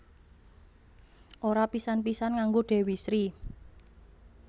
Ora pisan pisan nganggo Dewi Sri